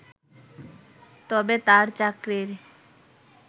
তবে তার চাকরির